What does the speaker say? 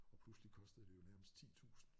Og pludselig kostede det jo nærmest 10 tusind